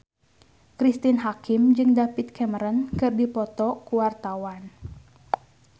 Cristine Hakim jeung David Cameron keur dipoto ku wartawan